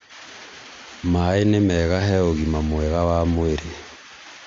maĩ nĩ mega he ũgima mwega wa mwĩrĩ